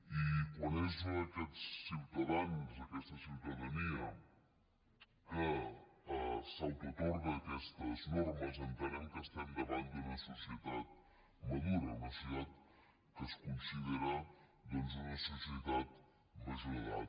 i quan són aquests ciutadans aquesta ciutadania que s’autoatorguen aquestes normes entenem que estem davant d’una societat madura una societat que es considera doncs una societat major d’edat